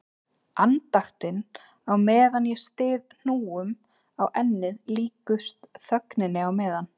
Andaktin á meðan ég styð hnúum á ennið líkust þögninni á meðan